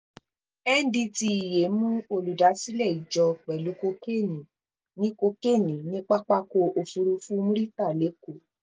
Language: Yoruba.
ndtea mú olùdásílẹ̀ ìjọ pẹ̀lú kokéènì ní kokéènì ní pápákọ̀ òfurufú murità lẹ́kọ̀ọ́